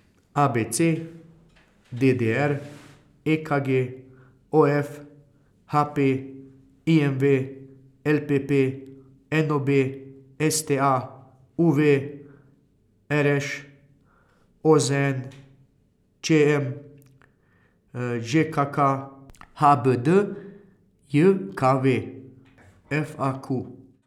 A B C; D D R; E K G; O F; H P; I M V; L P P; N O B; S T A; U V; R Š; O Z N; Č M; Ž K K; H B D J K V; F A Q.